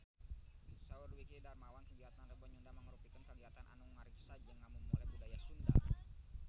Saur Dwiki Darmawan kagiatan Rebo Nyunda mangrupikeun kagiatan anu ngariksa jeung ngamumule budaya Sunda